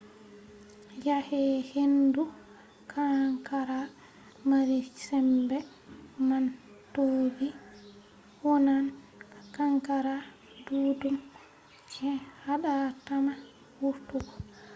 yake hendu kankara mari sembe man toɓi wonnan kankara ɗuɗɗum je haɗatama wurtugo